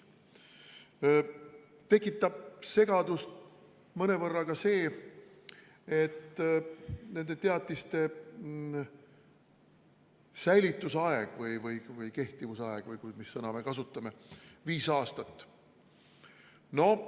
Mõnevõrra tekitab segadust ka see, et nende teatiste kehtivusaeg on viis aastat.